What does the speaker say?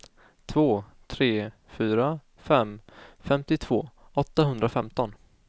två tre fyra fem femtiotvå åttahundrafemton